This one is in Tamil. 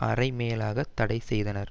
அரை மேலாக தடை செய்தனர்